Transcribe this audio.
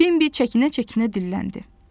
Bembi çəkinə-çəkinə dilləndi.